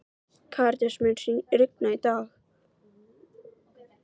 Karítas, mun rigna í dag?